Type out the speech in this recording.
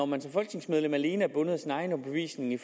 man som folketingsmedlem alene er bundet af sin egen overbevisning i